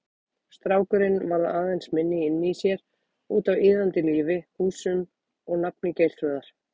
Strákurinn varð aðeins minni inni í sér, útaf iðandi lífi, húsum og nafni Geirþrúðar.